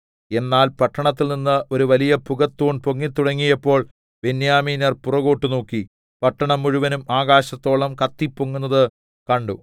എന്നാൽ പട്ടണത്തിൽനിന്ന് ഒരു വലിയ പുകത്തൂൺ പൊങ്ങിത്തുടങ്ങിയപ്പോൾ ബെന്യാമീന്യർ പുറകോട്ട് നോക്കി പട്ടണം മുഴുവനും ആകാശത്തോളം കത്തിപ്പൊങ്ങുന്നത് കണ്ടു